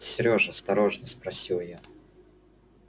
сереж осторожно спросила я